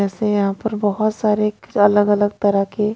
ऐसे यहां पर बहुत सारे अलग-अलग तरह के--